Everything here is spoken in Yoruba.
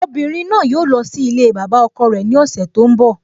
Obìnrin náà yóò lọ sí ilée bàbá ọkọ rẹ ní ọ̀sẹ̀ tó ń bọ́